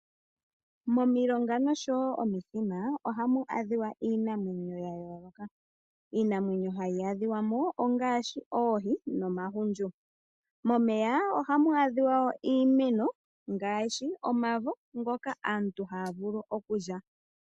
Momilonga noshowo omithima ohamu adhiwa iinamwenyo ya yooloka. Iinamwenyo hayi adhiwamo ongaashi oohi no mahundju. Momeya ohamu adhiwa wo iimeno ngaashi omavo, ngoka aantu haya vulu okulya.